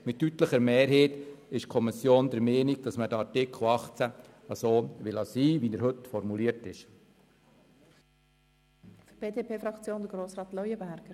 Mit deutlicher Mehrheit ist die Kommission also der Meinung, dass Artikel 18 in der heutigen Formulierung belassen werden soll.